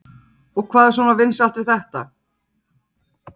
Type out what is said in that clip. Telma: Og hvað er svona vinsælt við þetta?